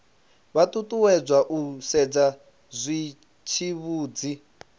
vha ṱuṱuwedzwa u sedza zwitsivhudzi